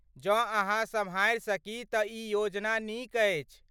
जँ अहाँ सम्हारि सकी तँ ई योजना नीक अछि।